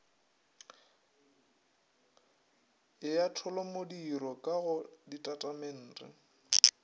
ya tholomodiro ka go ditatamente